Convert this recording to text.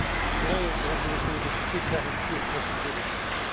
Je voudrais, Mesdames et Messieurs les députés, clarifier et préciser les choses.